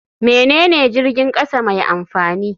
Menene jirgin kasa mai amfani?